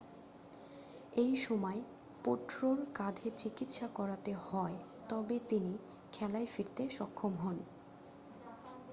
এই সময় পোট্রোর কাঁধে চিকিৎসা করাতে হয় তবে তিনি খেলায় ফিরতে সক্ষম হন